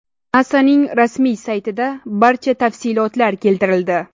NASAning rasmiy saytida barcha tafsilotlar keltirildi.